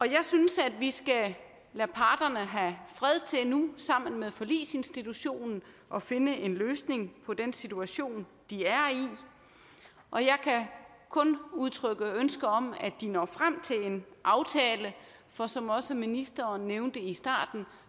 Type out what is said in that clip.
jeg synes at vi skal lade parterne have fred til nu sammen med forligsinstitutionen at finde en løsning på den situation de er i og jeg kan kun udtrykke ønske om at de når frem til en aftale for som også ministeren nævnte i starten